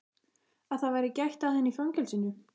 Að það væri gætt að henni í fangelsinu?